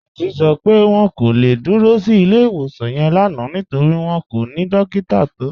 Títí sọ pé wọn kò le dúró sí ilẹ̀-iwosan yẹn lánà nítorí wọn kò ni dòkítà tó